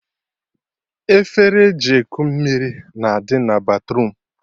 Efere eji eku mmiri na-adị na batruum